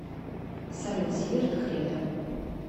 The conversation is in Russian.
салют зиверт кредо